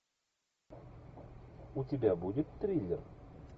у тебя будет триллер